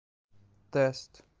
тест